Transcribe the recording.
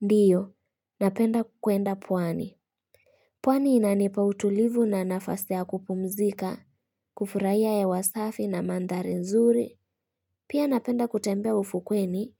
Ndiyo, napenda kwenda pwani. Pwani inanipa utulivu na nafasi kupumzika, kufurahia hewa wasafi na mandhari nzuri. Pia napenda kutembea ufukweni